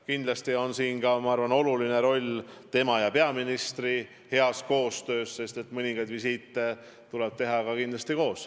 Kindlasti on siin oluline roll tema ja peaministri heas koostöös – mõningaid visiite tuleb kindlasti teha koos.